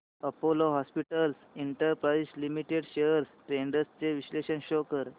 Apollo hospitals enterprise limited shares trends चे विश्लेषण show कर